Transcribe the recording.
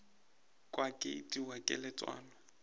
kwa ke itiwa ke letswalo